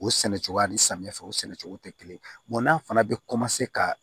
O sɛnɛcogo ani samiyɛ fɛ o sɛnɛcogo tɛ kelen ye n'a fana bɛ ka